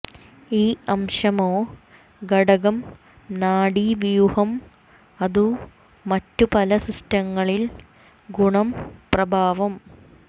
ഈ അംശമോ ഘടകം നാഡീവ്യൂഹം അതു മറ്റു പല സിസ്റ്റങ്ങളിൽ ഗുണം പ്രഭാവം